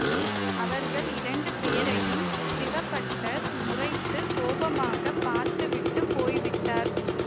அவர்கள் இரண்டு பேரையும் சிவபட்டர் முறைத்து கோபமாக பார்த்து விட்டு போய்விட்டார்